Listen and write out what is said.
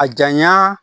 A janya